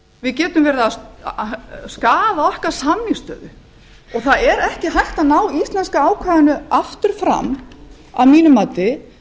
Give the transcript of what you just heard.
við getum verið að skaða okkar samningsstöðu og það er ekki hægt að ná íslenska ákvæðinu aftur fram að mínu mati